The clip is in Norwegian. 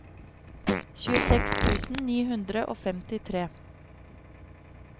tjueseks tusen ni hundre og femtitre